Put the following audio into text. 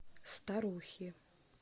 старухи